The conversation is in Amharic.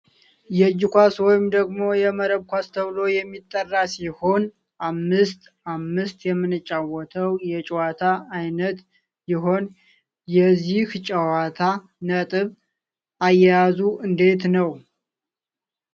የእጅ ኳስ ወይም ደግሞ የመረብ ኳስ ተብሎ የሚጠራ ሲሆን አምስት አምስት የምንጫወተው የጨዋታ አይነት ይሆን። የዚህ ጨዋታ ነጥብ አያያዙ እንዴት ነው?